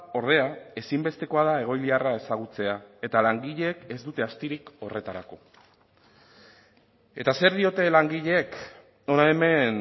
ordea ezinbestekoa da egoiliarra ezagutzea eta langileek ez dute astirik horretarako eta zer diote langileek hona hemen